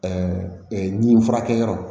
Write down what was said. nin furakɛ yɔrɔ